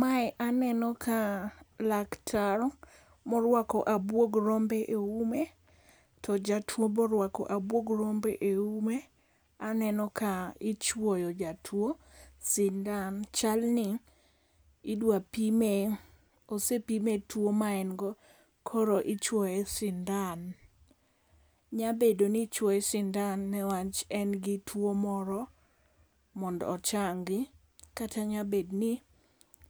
Mae aneno ka laktar morwako abwog rombe e ume to jatuo be orwako abwog rombe e ume. Aneno ka ichwoyo jatuo sindan. Chalni idwa pime. Osepime tuo ma en go koro ichwoye sindan. Nyabedo ni ichwoye sindan ne wach en gi tuo moro mondo ochangi kata nyabedo ni